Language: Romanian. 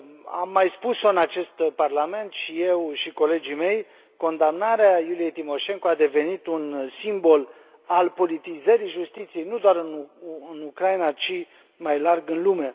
Am mai spus o în acest Parlament, și eu, și colegii mei, condamnarea Iuliei Timoșenko a devenit un simbol al politizării justiției, nu doar în Ucraina, ci, mai larg, în lume.